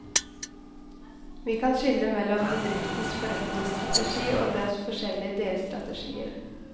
Vi kan skille mellom bedriftens forretningsstrategi og dens forskjellige delstrategier.